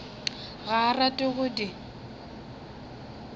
ga a rate go di